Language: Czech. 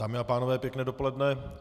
Dámy a pánové, pěkné dopoledne.